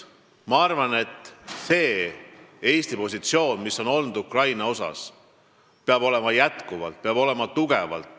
Ma arvan, et see positsioon, mis Eestil on olnud Ukraina suhtes, peab jätkuma, see peab olema tugev.